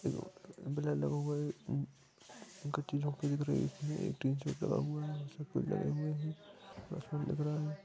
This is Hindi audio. ये लगा हुआ है ये एक अच्छी झोपड़ी दिख रही है एक टीन सेट लगा हुआ है लगा हुआ है आसमान दिख रहा है।